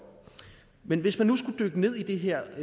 men hvis man nu skulle dykke ned i det her